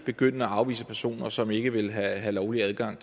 begynde at afvise personer som ikke vil have lovlig adgang